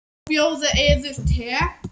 Má bjóða yður te?